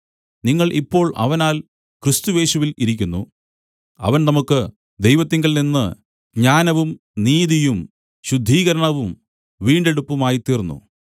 നിങ്ങൾ ഇപ്പോൾ അവനാൽ ക്രിസ്തുയേശുവിൽ ഇരിക്കുന്നു അവൻ നമുക്ക് ദൈവത്തിങ്കൽ നിന്ന് ജ്ഞാനവും നീതിയും ശുദ്ധീകരണവും വീണ്ടെടുപ്പുമായിത്തീർന്നു